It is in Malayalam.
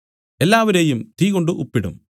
എല്ലാവരേയും തീകൊണ്ട് ഉപ്പിടും